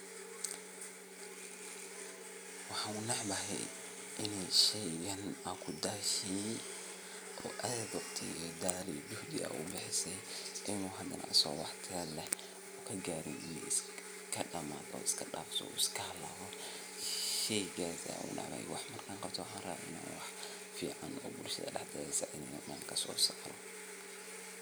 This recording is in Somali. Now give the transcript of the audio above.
Waxa unecbahay iney sheyga ad kudashe ee aad ad juhdi ogubxise ine hadana asago waxtar garin uu iskadamado marka sheygas ayan unecbahay marka wax qabto waxan rawo in uu wax tar lahado.